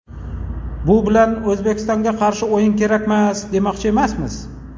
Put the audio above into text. Bu bilan O‘zbekistonga qarshi o‘yin kerakmas, demoqchi emasmiz.